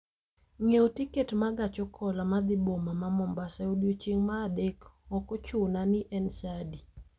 ng'iewo tiket ma gach okolo madhi boma ma Mombasa e odiechieng' ma adek, ok ochuna ni en saa adi